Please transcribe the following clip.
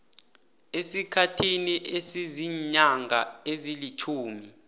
esikhathini esiziinyanga ezilitjhumi